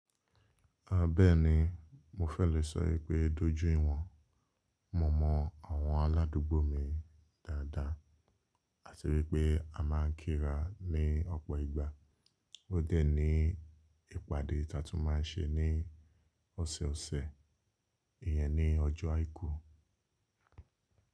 A bẹ́ẹ̀ni, mo fẹ́ lè sọ wipé dójú ìwọ̀n, mo mọ àwọn aládùúgbò mi dáadáa àti wípé a máà ń kíra ní ọ̀pọ̀ ìgbà. Ó dẹ̀ ní ìpàdé taa tún máa ń ṣe ní ọ̀sẹ̀ osẹ̀, ìyẹn ni ọjọ́ àìkú.